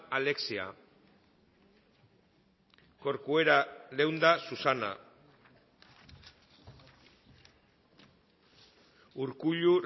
alexia corcuera leunda susana urkullu